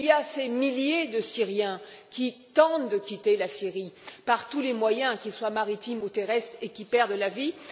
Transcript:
Des milliers de Syriens tentent de quitter la Syrie par tous les moyens, qu'ils soient maritimes ou terrestres, et perdent la vie.